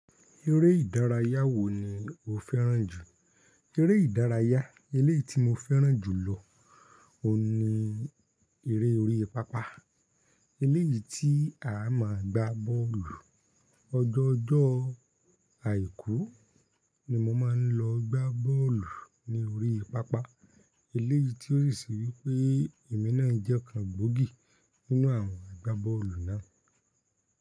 Eré ìdárayá wo ni o fẹ́ràn jù? Eré ìdárayá eléyìí tí mo fẹ́ràn jù lọ oun ni eré orí pápá. Eléyìí tí a máa gbá bọ́ọ̀lù. Ọjọ́ ọjọ́ àìkú ni mo máa ń lọ gbá bọ́ọ̀lù ní orí pápá. Eléyìí tí ó sì se wípé èmi náà jẹ́ ọkan gbòógì nínú àwọn agbá bọ́ọ̀lù náà.